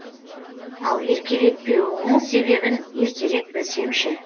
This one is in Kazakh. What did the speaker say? ал еркелетпеуіңнің себебін ертерек білсем ше